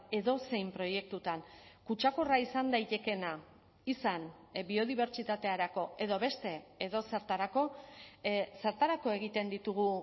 edozein proiektutan kutsakorra izan daitekeena izan biodibertsitaterako edo beste edozertarako zertarako egiten ditugu